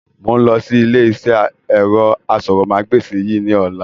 Mo ń lọ sí ilé iṣẹ́ ẹ̀rọ aṣórómagbesìn yìí ni ọ̀la.